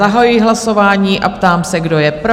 Zahajuji hlasování a ptám se, kdo je pro?